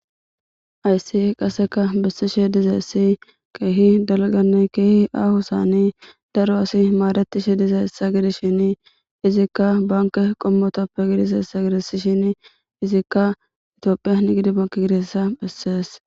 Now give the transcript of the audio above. ayssi qaseka bessishe dize essi keehi dalganne keehi aaho saani daro asi maaretishi dize hessa gidishin izikka banke qommotoppe gidiseessa gidisishin izikka itiophiyan gidi banke gidessa bessees